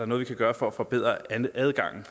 noget vi kan gøre for at forbedre adgangen